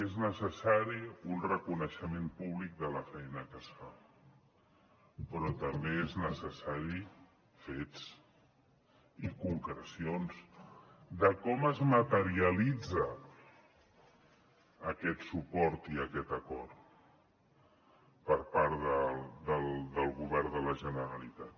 és necessari un reconeixement públic de la feina que es fa però també són necessaris fets i concrecions de com es materialitza aquest suport i aquest acord per part del govern de la generalitat